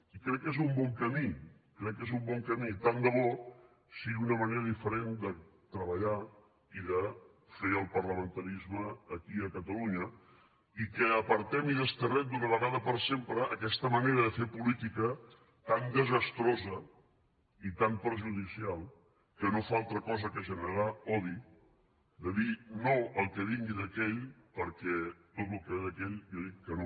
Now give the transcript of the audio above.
i crec que és un bon camí crec que és un bon camí tant de bo sigui una manera diferent de treballar i de fer el parlamentarisme aquí a catalunya i que apartem i desterrem d’una vegada per sempre aquesta manera de fer política tan desastrosa i tan perjudicial que no fa altra cosa que generar odi de dir no al que vingui d’aquell perquè a tot el que ve d’aquell jo dic que no